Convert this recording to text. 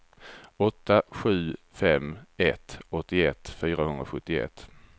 åtta sju fem ett åttioett fyrahundrasjuttioett